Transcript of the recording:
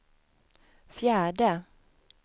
fjärde